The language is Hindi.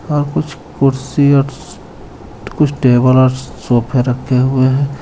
ओर कुछ कुर्सी कुछ टेबल और सोफे रखे हुए हे.